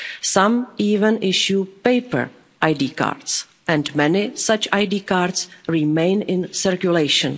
Some even issue paper ID cards and many such ID cards remain in circulation.